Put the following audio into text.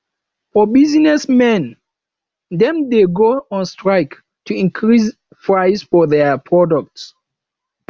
for business men dem de go on strike to increase price for their product